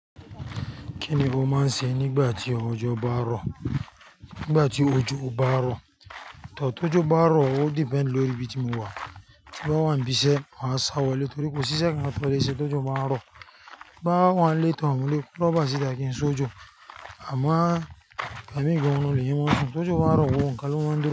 Kí ni mo máa ń ṣe nígbà tí òjò bá rọ̀? Nígbà tí òjò bá rọ̀, tó bá rọ̀, ó depend lórí ibi tí mo wà. Ti mo wà ní ibi iṣẹ́, màá sá wá lé torí kò sí iṣẹ́ kan máa tó lè ṣe tó jọ bá ń rọ̀. Bá wà lẹ́tọ̀ọ́ wá lé, kò bá sí ìtàgé ń sọ òjò. A máa gba mí gba orún lèyan maa sùn. Tó jọ bá rọ̀ wọ́n, ìkàlẹ̀ wọ́n dùn.